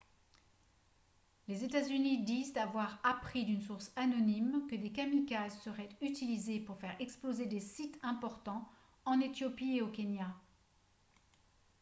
les états-unis disent avoir appris d’une source anonyme que des kamikazes seraient utilisés pour faire exploser des « sites importants » en éthiopie et au kenya